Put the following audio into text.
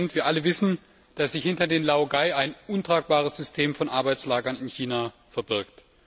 Wir alle wissen, dass sich hinter den Laogai ein untragbares System von Arbeitslagern in China verbirgt.